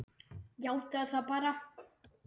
Játaðu það bara!